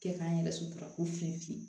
Kɛ k'an yɛrɛ sutura ko fiye fiye